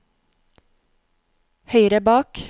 høyre bak